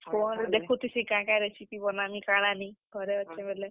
Phone ରେ ଦେଖୁଥିସିଁ କେଁ କେଁ recipe ବନାମି କାଣା ନି, ଘରେ ଅଛେଁ ବେଲେ।